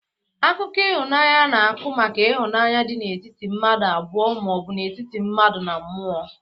Akụkọ ihụnanya na-akụ maka ihunanya dị n'etiti mmadu abụọ ma ọbụ n'etiti mmadu na mMụo.